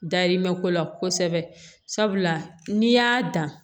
Dayirimɛ ko la kosɛbɛ sabula n'i y'a dan